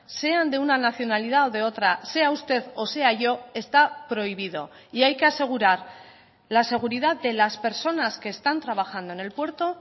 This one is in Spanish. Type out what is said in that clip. sean de una nacionalidad de otra sea usted o sea yo está prohibido y hay que asegurar la seguridad de las personas que están trabajando en el puerto